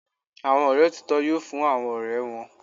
Àwọn ọ̀rẹ́ òtítọ́ yoo fún àwọn ọ̀rẹ́ wọn.